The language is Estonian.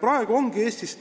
Praegu ongi Eestis